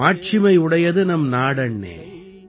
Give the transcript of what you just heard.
மாட்சிமை உடையது நம் நாடண்ணே